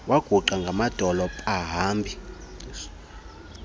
waguqa ngamadolo pahambi